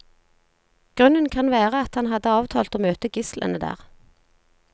Grunnen kan være at han hadde avtalt å møte gislene der.